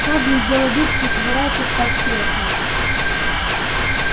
хардин сделал вид что собирается встать с кресла